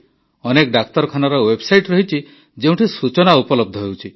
ଅନେକ ଡାକ୍ତରଖାନାର ୱେବ୍ସାଇଟ୍ ରହିଛି ଯେଉଁଠି ସୂଚନା ଉପଲବ୍ଧ ହେଉଛି